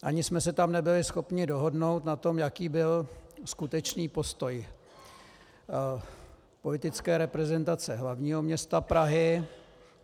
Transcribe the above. Ani jsme se tam nebyli schopni dohodnout na tom, jaký byl skutečný postoj politické reprezentace hlavního města Prahy.